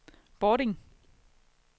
Bording